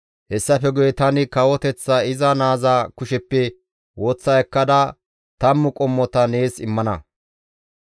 Hessafe guye tani kawoteththaa iza naaza kusheppe woththa ekkada tammu qommota nees immana.